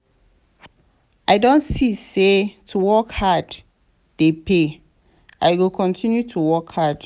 i don see say to work hard dey pay i go continue to work hard.